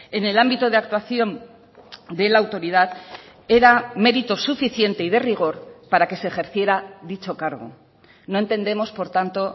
en el ámbito de actuación de la autoridad era mérito suficiente y de rigor para que se ejerciera dicho cargo no entendemos por tanto